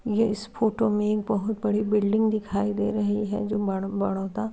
ये इस फ़ोटो में एक बोहोत बड़ी बिल्डिंग दिखाई दे रही है | जो --